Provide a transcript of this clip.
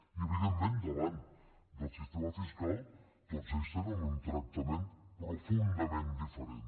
i evidentment davant del sistema fiscal tots ells tenen un tractament profundament diferent